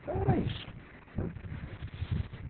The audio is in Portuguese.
Então, era isso, né.